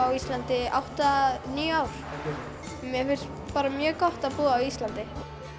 á Íslandi í níu ár mér finnst bara mjög gott að búa á Íslandi